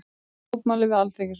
Boða mótmæli við Alþingishúsið